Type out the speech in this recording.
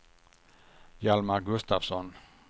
Hjalmar Gustafsson